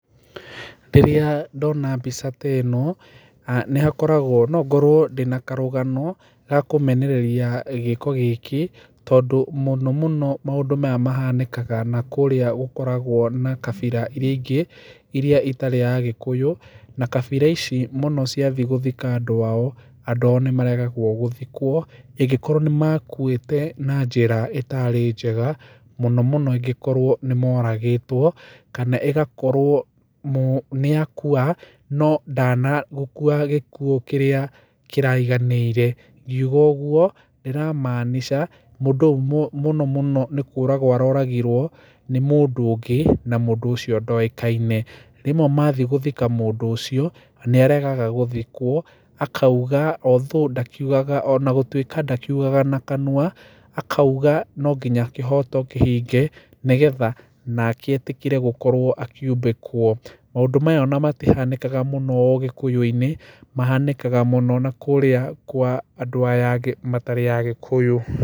Rĩrĩa ndona mbica ta ĩno, nĩhakoragwo, nongorwo ndĩna karũgano ga kũmenereria gĩĩko gĩkĩ, tondũ mũnomũno maũndũ maya mahanĩkaga nakũrĩa gũkoragwo na kabira iria ingĩ, iria itarĩ agĩkũyũ. Na kabira ici mũno ciathi gũthika andũ ao nĩmaregagwo gĩthikwo ĩgakorwo nĩmakũĩte na njĩra ĩtarĩ njega mũnomũno angĩkorwo nĩmoragĩtwo, kana ĩgakorwo mũ, nĩakũa no ndana gũkũa gĩkũũ kĩrĩa kĩraiganĩire. Ngiuga agũo ndĩramaanisha mũndũ mũnomũno nĩkũragwo aroragirwo, nĩ mũndũ ũngĩ na mũndũ ũcio ndoĩkaine. Rĩmwe mathiĩ gũthika mũndũ ũcio nĩaregaga gũthikwo akaũga although ndakiũgaga, ona gũtaĩka ndakiũgaga na kanũa, akaũga nonginya kĩhoto kĩhinge, nĩgetha nake etĩkĩre gũkorwo akĩũmbĩkwo. Maũdũ maya ona matihanĩkaga mũno ũgĩkũyũ-inĩ, mahanĩkaga mũno nakũrĩa kwa andũ aya angĩ matarĩ agĩkũyũ.